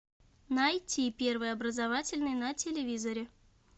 найти первый образовательный на телевизоре